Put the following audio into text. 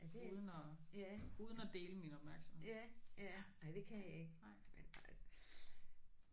Ja det ja ja ja nej det kan jeg ikke men nej